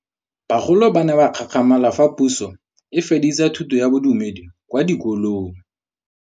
Bagolo ba ne ba gakgamala fa Pusô e fedisa thutô ya Bodumedi kwa dikolong.